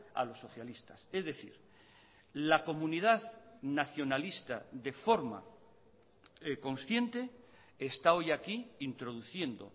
a los socialistas es decir la comunidad nacionalista de forma consciente está hoy aquí introduciendo